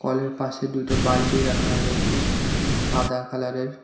কলের পাশে দুইটা বালটি রাখা রয়েছে সাদা কালার -এর।